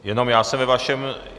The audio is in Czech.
Jenom já se ve vašem...